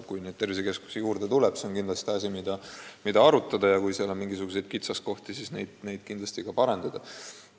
Kui neid tervisekeskusi juurde tuleb, siis on seda teemat kindlasti vaja veel arutada ja kui seal on mingisuguseid kitsaskohti, siis tuleb need muidugi kõrvaldada.